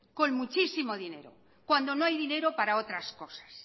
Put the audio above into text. con muchísimo dinero cuando no hay dinero para otras cosas